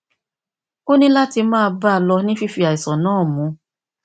ó ní láti máa bá a lọ ní fífi àìsàn náà mu